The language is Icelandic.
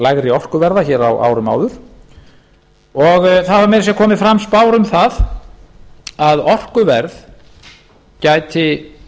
lægri orkuverð hér á árum áður og það hafa meira að segja komið fram spár um það að orkuverð gæti